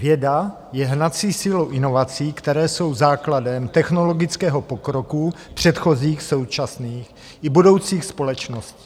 Věda je hnací silou inovací, které jsou základem technologického pokroku předchozích, současných i budoucích společností.